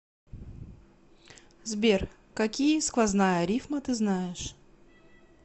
сбер какие сквозная рифма ты знаешь